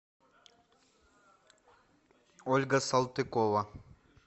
ольга салтыкова